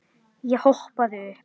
Ég hoppaði upp.